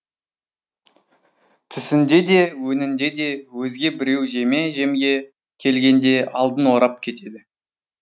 түсіңде де өңіңде де өзге біреу жеме жемге келгенде алдын орап кетеді